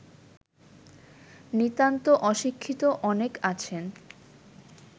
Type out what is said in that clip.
নিতান্ত অশিক্ষিত অনেক আছেন